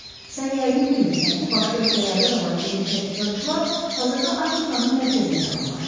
Sən yəqin bilmirsən ki, başqa ölkələrdən olan yeni tədqiqatçılar hazırda Afrikanın mərkəzinə yaxınlaşır.